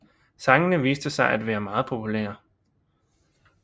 Sangene viste sig at være meget populære